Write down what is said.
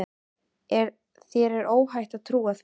Þér er óhætt að trúa því.